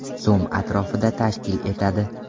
so‘m atrofida tashkil etadi.